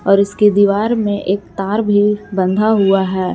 और इसके दीवार में एक तार भी बंधा हुआ है।